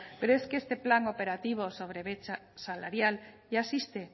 pero es que este plan operativo sobre brecha salarial ya existe